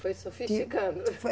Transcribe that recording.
Foi sofisticando. Foi